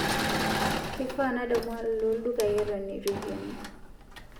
keifaa nadamu alo ildukai eton eitu eikeni